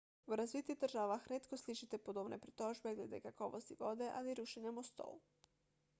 v razvitih državah redko slišite podobne pritožbe glede kakovosti vode ali rušenja mostov